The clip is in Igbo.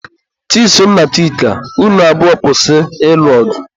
Chisom na Chika, unu abụọ kwụsị ịlụ ọgụ!